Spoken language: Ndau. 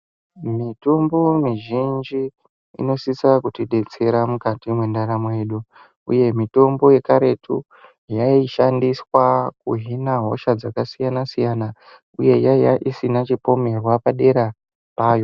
Mitombo mizhinji inosisa kutibetsera mukati mwendaramo yedu uye mitombo yekaretu yaishandiswa kuhina hosha dzakasiyana siyana uye yakanga isina chipomerwa padera payo .